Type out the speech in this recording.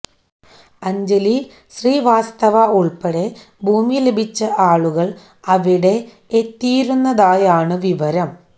അഞ്ജലി ശ്രീവാസ്തവ ഉൾപ്പെടെ ഭൂമി ലഭിച്ച ആളുകൾ അവിടെ എത്തിയിരുന്നതായാണ് വിവരം